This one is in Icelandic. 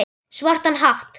Svartan hatt.